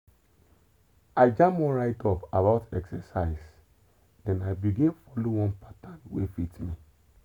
i jam one write-up about exercise then i begin follow one pattern wey fit me.